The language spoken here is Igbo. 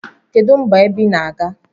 Kedu mba ebe inaga?